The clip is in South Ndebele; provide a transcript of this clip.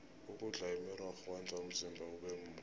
ukudla imirorho kwenza umzimba ubemuhle